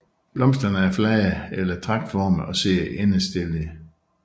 Blomsterne er flade eller tragtformede og sidder endestillet